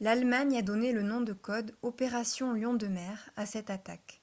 l’allemagne a donné le nom de code « opération lion de mer » à cette attaque.